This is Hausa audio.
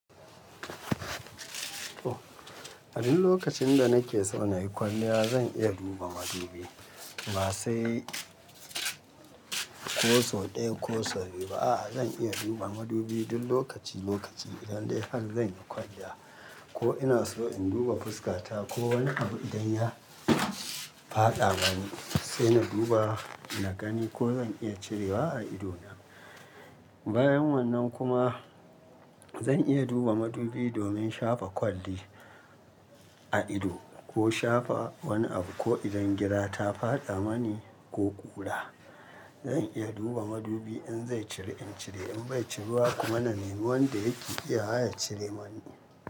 Duk lokacin da nake zaune kwalliya zan iya duba madubi ba sai ko sau ɗaya ko sau biyu ba a'a zan iya duba madubi duk lokaci lokaci idan dai har zan yi kwalliya ko ina so in duba fuskata ko wani abu idan ya faɗa gani sai na duba na gani ko zan iya cirewa a idona. Bayan wannan kuma zan iya duba madubi domin shafa kwalli a ido ko shafa wani abu ko idan gira ta faɗa mani ko ƙura zan iya duba madubi in zai cire in cire in bai cirewa kuma na nemi wanda yake iya haya cire mani.